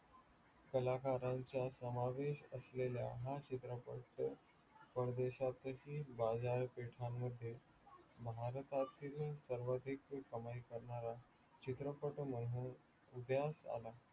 कलाकारांचा समावेश असलेला हा चित्रपट परदेशातही बाजार पेंठा मध्ये भारतातही सर्वाधिक कमाई करणारा चित्रपट म्हणून उदयास आला